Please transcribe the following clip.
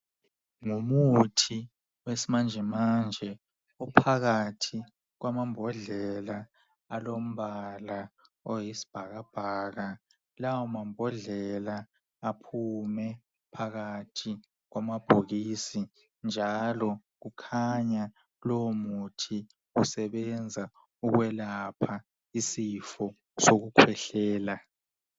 Ngumuthi wesi manje manje uphakathi kwamambodlela alombala oyisibhakabhaka lawo mambodlela aphume. phakathi kwamabhokisi njalo kukhanya lowo muthi usebenza ukwelapha isifo sokukhwehlela.